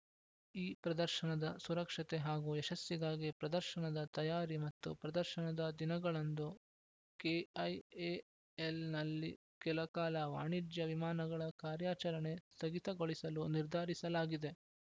ಈ ಪ್ರದರ್ಶನದ ಸುರಕ್ಷತೆ ಹಾಗೂ ಯಶಸ್ಸಿಗಾಗಿ ಪ್ರದರ್ಶನದ ತಯಾರಿ ಮತ್ತು ಪ್ರದರ್ಶನದ ದಿನಗಳಂದು ಕೆಐಎಎಲ್‌ನಲ್ಲಿ ಕೆಲ ಕಾಲ ವಾಣಿಜ್ಯ ವಿಮಾನಗಳ ಕಾರ್ಯಾಚರಣೆ ಸ್ಥಗಿತಗೊಳಿಸಲು ನಿರ್ಧರಿಸಲಾಗಿದೆ